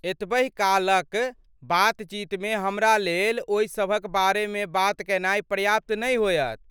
एतबहि कालक बातचीतमे हमरा लेल ओहि सभक बारेमे बात कयनाइ पर्याप्त नहि होयत।